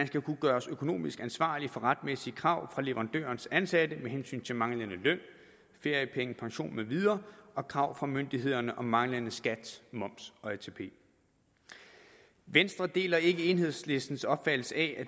skal kunne gøres økonomisk ansvarlig for retmæssige krav fra leverandørens ansatte med hensyn til manglende løn feriepenge pension med videre og krav fra myndighederne om manglende skat moms og atp venstre deler ikke enhedslistens opfattelse af at